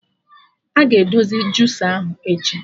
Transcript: Aga edozi jusa ahụ echi